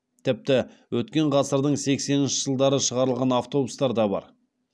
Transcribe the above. тіпті өткен ғасырдың сексенінші жылдары шығарылған автобустар да бар